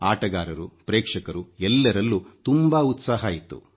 ಆಟಗಾರರು ಪ್ರೇಕ್ಷಕರು ಎಲ್ಲರಲ್ಲೂ ತುಂಬಾ ಉತ್ಸಾಹ ಇತ್ತು